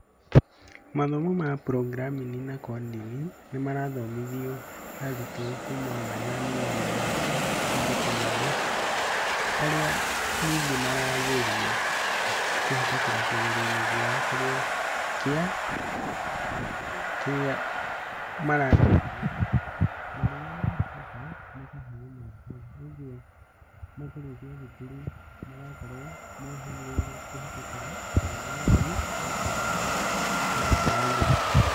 Mathomo ma programming na coding nĩ marathomithio arutwo kuma marĩ anini mathukuru-inĩ, harĩa ningĩ maragerio kũhetũkĩra kĩgerio-inĩ kĩao kĩrĩa maragerio. Na mahetũka, magathiĩ o na mbere. Kwogwo makĩrĩkia thukuru marakorwo mohĩgĩrĩire kũhĩtũkĩra programming na coding na njĩra njega.